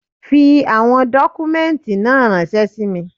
Fi àwọn dọ́kúmẹ́ǹtì náà ránṣẹ́ sí mi.